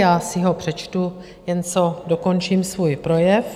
Já si ho přečtu, jen co dokončím svůj projev.